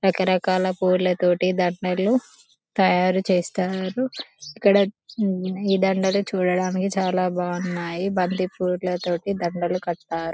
రకరకాల పూల తోటి దండలు తయారు చేస్తారు ఇక్కడ ఈ దండలు చూడడానికి చాలా బాగున్నాయి బంతిపూల తోటి దండలు కట్టారు